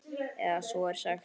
Eða svo er sagt.